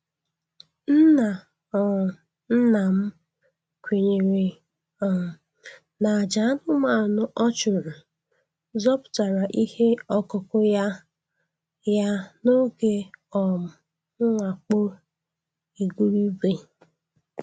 Nna um nna m kwenyere um na àjà anụmanụ ọ chụrụ zọpụtara ihe ọkụkụ ya ya n'oge um mwakpo igurube.